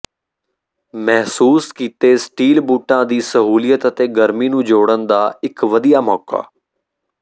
ਮਹਿਸੂਸ ਕੀਤੇ ਗਏ ਸਟੀਲ ਬੂਟਾਂ ਦੀ ਸਹੂਲਤ ਅਤੇ ਗਰਮੀ ਨੂੰ ਜੋੜਨ ਦਾ ਇੱਕ ਵਧੀਆ ਮੌਕਾ